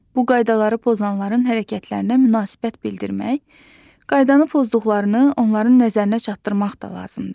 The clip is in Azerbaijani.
Bu qaydaları pozanların hərəkətlərinə münasibət bildirmək, qaydanı pozduqlarını onların nəzərinə çatdırmaq da lazımdır.